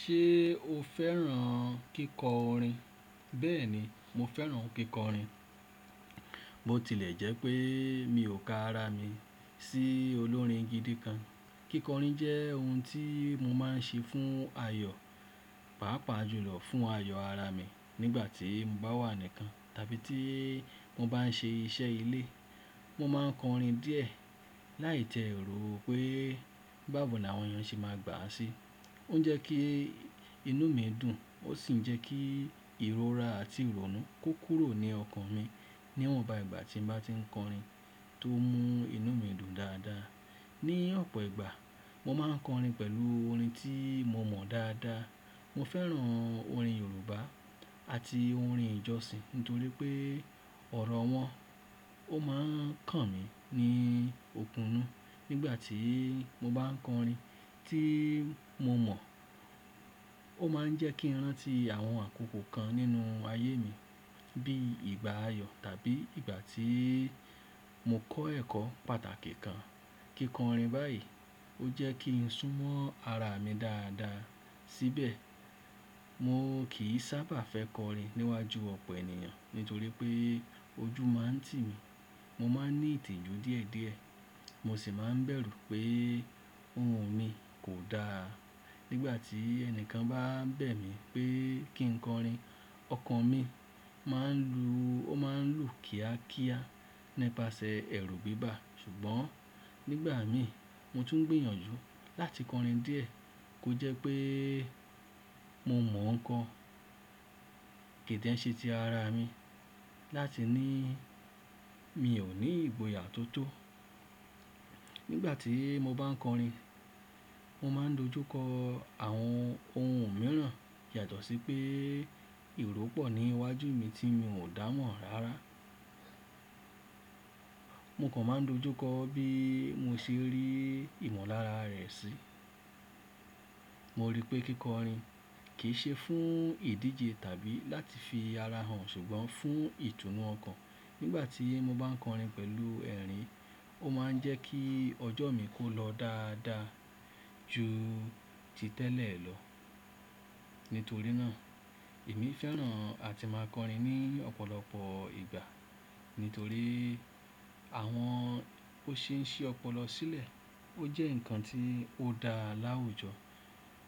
Ṣé o fẹ́ràn kíkọrin? Bẹ́ẹ̀ni, mo fẹ́ràn kíkọrin. Bo tilẹ̀ jẹ́ pé mi ò ka ara mi sí olórin gidi kan. Kíkọrin jẹ́ ohun tí mo máa ń ṣe fún ayọ̀, pàápàá jùlọ fún ayọ̀ ara mi nígbàtí mo bá wà nìkan tàbí tí mo bá n ṣe iṣẹ́ ilé. Mo máa ń kọrin díẹ̀ láì tẹ èrò pé báwo ni àwọn èèyàn ṣe máa gbà á sí. Ó jẹ́ kí inú mi dùn, ó sì jẹ́ kí ìrora àti ìrònú kó kúrò ní ọkàn mi. Níwọn ba ìgbà tí mo bá ti ń kọrin tó mú inú mi dùn dáadáa. Ní ọ̀pọ̀ ìgbà, mo máa ń kọrin pẹ̀lú orin tí mo mọ̀ dáadáa. Mo fẹ́ràn orin Yorùbá àti orin ìjọsìn nítorí pé ọ̀rọ̀ wọn ó máa ń kàn mí ní òkunnu nígbà tí mo bá ń kọrin tí mo mọ̀. Ó máa ń jẹ́ kí n rántí àwọn àkókò kan nínú ayé mi bí i ìgbà ayọ̀ tàbí ìgbà tí mo kọ́ ẹ̀kọ́ pàtàkì kan. Kíkọrin báyìí ó jẹ́ kí n súnmọ́ ara mi dáadáa. Síbẹ̀, mo kì í sábà fẹ́ kọrin níwájú ọ̀pọ̀ ènìyàn nítorí pé ojú máa ń tì mí. Mo máa ń ní ìtìjú díẹ̀díẹ̀, mo sì máa ń bẹ̀rù pé ohùn mi kò da. Nígbà tí ẹni kan bá bẹ̀ mí pé kí n kọrin, ọkàn mi máa ń lu, ó máa ń lù kíákíá nípasẹ̀ ẹ̀rù bíbà. Ṣùgbọ́n nígbà mi, mo tún ń gbìyànjú láti kọrin díẹ̀ kó jẹ́ pé mo mọ̀ nǹkan kidẹ̀ ń ṣe ti ara mi láti ní mi ò ní ìgboyà tó tó. Nígbà tí mo bá ń kọrin, mo máa ń dojú kọ àwọn ohun mìíràn yàtọ̀ sí pé ìró pọ̀ níwájú mi tí mi ò dá mọ̀ rárá. Mo kàn máa ń dojú kọ bí mo ṣe rí ìmọ̀lára rẹ̀ sí. Mo rí pé kíkọrin kì í ṣe fún ìdíje tàbí láti fi ara hàn ṣùgbọ́n fún ìtùnú ọkàn. Nígbà tí mo bá ń kọrin pẹ̀lú ẹ̀rín, ó máa ń jẹ́ kí ọjọ́ mi kó lọ dáadáa ju ti tẹ́lẹ̀ lọ. Nítorí náà, èmi fẹ́ràn àti máa kọrin ní ọ̀pọ̀lọpọ̀ ìgbà nítorí àwọn ó ṣe ń ṣe ọpọlọ sílẹ̀. Ó jẹ́ nǹkan tí ó da láwùjọ.